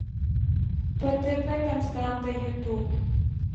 птп константа ютуб